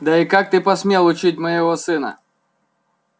да и как ты посмел учить моего сына